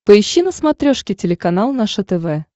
поищи на смотрешке телеканал наше тв